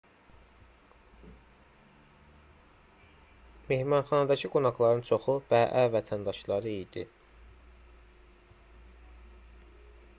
mehmanxanadakı qonaqların çoxu bəə vətəndaşları idi